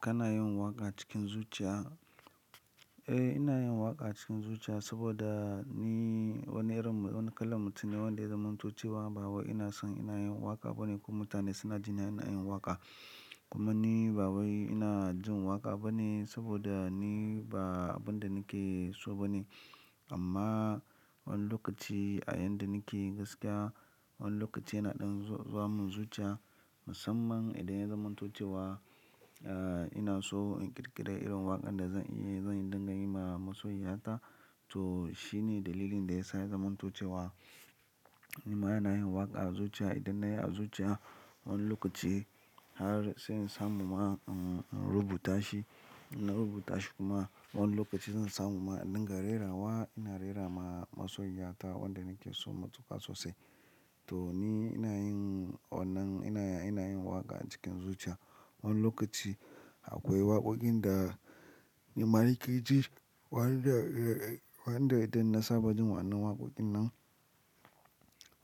Kana yin waƙa cikin zuciya? Eh, ina yin waƙa cikin zuciya saboda ni wani irin, wani kalan mutum ne wanda zamanto cewa ba wai ina son ina yin waƙa bane ko mutane suna jin ina yin waƙa. Kuma ni ba wai ina jin waƙa bane saboda ni ba abin da nake so bane. Amma wani lokaci a yaynda nake gaskiya, wani lokaci ina ɗan zuwa mun zuciya musamman idan ya zamantocewa, ah ina so in ƙirƙira irin waƙan da zan iya zan dinga yi ma masoya ta. Amma wani lokaci a yanda nake gaskiya, wani lokaci ina ɗan zuwa mun zuciya musamman idan ya zamantocewa, ah ina so in ƙirƙira irin waƙan da zan iya zan dinga yi ma masoya ta. Ina rubuta shi kuma wani lokaci zan samu ma inda ka rera wa, ina rera ma masoyiya ta wanda nake so matuƙa sosai. To ni ina yin wannan, ina, ina yin waƙa cikin zuciya. Wani lokaci akwai waƙoƙin da nima nake ji, waɗanda idan na saba jin wannan waƙoƙin nan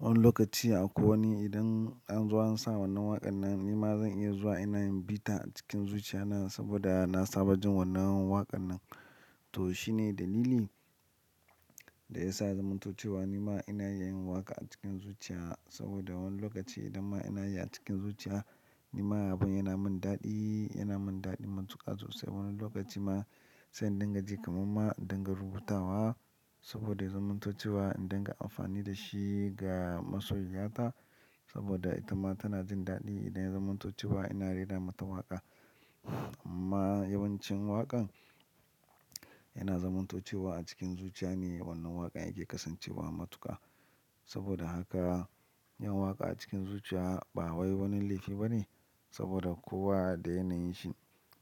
wani lokaci akwai wani idan an zo an sa wannan waƙan nan nima zan iya zuwa ina yin bita a cikin zuciya na saboda na saba jin wannan waƙan nan. To shine dalili da ya sa zamantocewa nima ina yin waƙa a cikin zuciya saboda wani lokaci idan ma ina yi a cikin zuciya nima abin yana min daɗi, yana min daɗi matuƙa sosai. Wani lokaci ma sai in dinga ji kamanma, in dinga rubutawa saboda zamantocewa in dinga amfani da shi ga masoiyata saboda ita ma tana jin daɗi idan ya zamantocewa ina rera mata waƙa. Amma yawancin waƙan yana zamantocewa a cikin zuciya ne wannan waƙan yake kasancewa matuƙa. Saboda haka yin waƙa a cikin zuciya ba wai wani laifi bane saboda kowa da yanayin shi.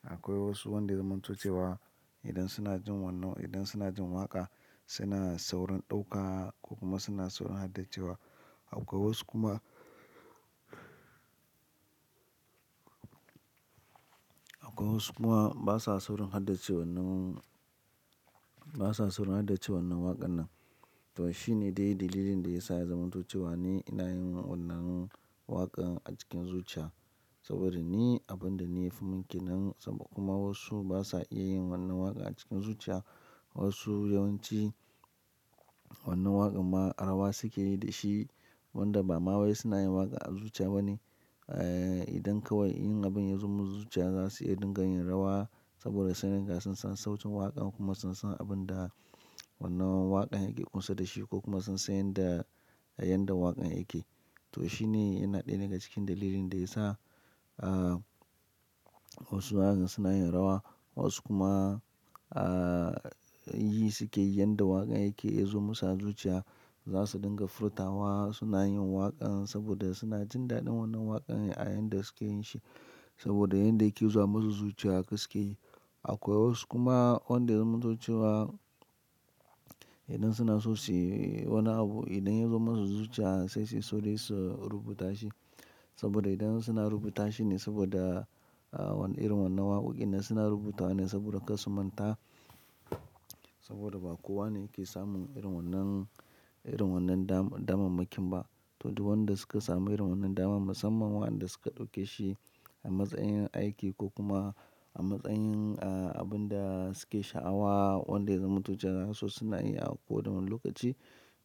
Akwai wasu wanda ya zamantocewa idan suna jin wannan, idan suna jin waƙa suna saurin ɗauka ko kuma suna saurin haddace wa. Akwai wasu kuma akwai wasu kuma basa saurin haddace wannan, basa saurin haddace wannan waƙan nan. To shine dai dalilin da ya sa ya zamantocewa ne ina yin wannan waƙan a cikin zuciya saboda ni abinda ne yafi min ƙenan sabo kuma wasu basa iya yin wannan waƙa a cikin zuciya. Wasu yawanci wannan waƙan ma, rawa suke yi da shi wanda ba ma wai suna yin waƙa a zuciya bane. Eh, idan kawai yin abin ya zo musu zuciya za su iya dinga yin rawa saboda sai riga sun san sautin waƙan kuma sun san abin da wannan waƙan yake ƙusa da shi ko kuma sun san yanda, yayanda waƙan yake. To shine yana ɗaya daga cikin dalilin da ya sa, ah wasu waƙar suna yin rawa wasu kuma, ah yi suke yanda waƙan yake ya zo musu a zuciya za su dinga furta wa suna yin waƙan saboda suna jin daɗin wannan waƙan a yayinda suke yin shi saboda yanda yake zuwa musu zuciya suke yi. Akwai wasu kuma wanda zamantocewa idan suna so su yi wani abu idan ya zo musu zuciya sai suyi sauri su rubuta shi saboda idan suna rubuta shi ne saboda, ah wani irin wannan waƙoƙin da suna rubuta wa ne saboda kasu manta saboda ba kowa ne yake samun irin wannan, irin wannan damammakin ba. To duk wanda suka samu irin wannan damar musamman waɗanda suka ɗauke shi a matsayin aiki ko kuma a matsayin, ah abin da suke sha'awa wanda zamantocewa za su, suna iya a ko wanne lokaci.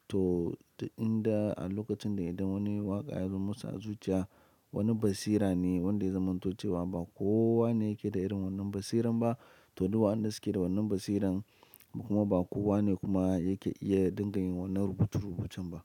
To idan a lokacin da idan wani waƙa ya zo musu a zuciya wani basira ne wanda zamantocewa ba kowa ne yake da irin wannan basiran ba. To duk waɗanda suke da wannan basiran kuma ba kowa ne kuma yake iya dinga yin wannan rubutu rubucen ba.